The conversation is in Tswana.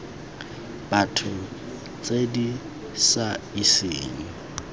batho tse di sa iseng